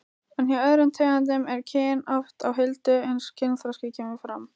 En hjá öðrum tegundum er kyn oft á huldu uns kynþroski kemur fram.